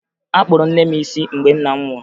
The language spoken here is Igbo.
Akpụrụ nne m isi mgbe nna m nwụrụ